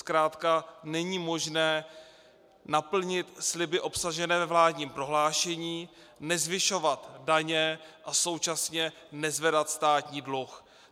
Zkrátka není možné naplnit sliby obsažené ve vládním prohlášení - nezvyšovat daně a současně nezvedat státní dluh.